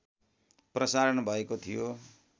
प्रसारण भएको थियो